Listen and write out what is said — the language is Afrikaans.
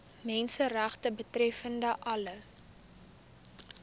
menseregte betreffende alle